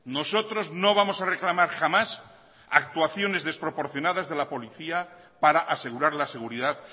nosotros no vamos a reclamar jamás actuaciones desproporcionadas de la policía para asegurar la seguridad